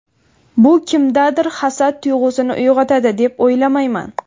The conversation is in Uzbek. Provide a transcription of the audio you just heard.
Bu kimdadir hasad tuyg‘usini uyg‘otadi deb o‘ylamayman.